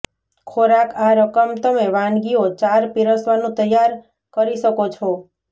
ખોરાક આ રકમ તમે વાનગીઓ ચાર પિરસવાનું તૈયાર કરી શકો છો